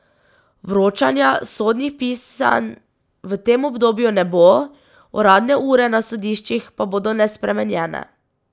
Vročanja sodnih pisanj v tem obdobju ne bo, uradne ure na sodiščih pa bodo nespremenjene.